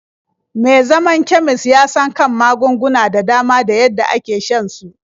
Me zaman kemis ya san kan magunguna da dama da yadda ake shan su.